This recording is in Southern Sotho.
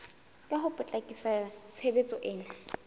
ho ka potlakisa tshebetso ena